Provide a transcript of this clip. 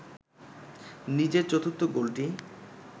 নিজের চতুর্থ গোলটি